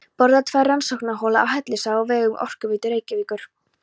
Boraðar tvær rannsóknarholur á Hellisheiði á vegum Orkuveitu Reykjavíkur.